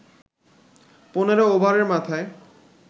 ১৫ ওভারের মাথায়